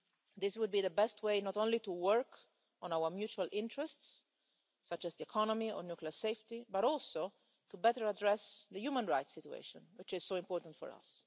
This would be the best way, not only to work on our mutual interests, such as the economy or nuclear safety, but also to better address the human rights situation, which is so important for us.